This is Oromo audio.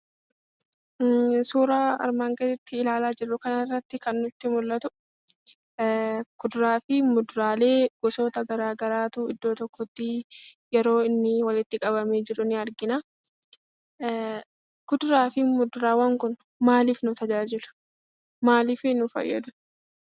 Suura armaan gadii irratti ilaalaa jirru kana irratti kan nutti mul'atu kuduraalee fi muduraalee gosoota gara garaatu yeroo inni bakka tokkotti walitti qabamee jiru ni arginaa. Kuduraa fi muduraan Kun maalif nu fayyadu?